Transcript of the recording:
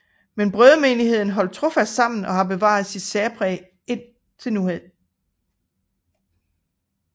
Men Brødremenigheden holdt trofast sammen og har bevaret sit særpræg lige indtil nutiden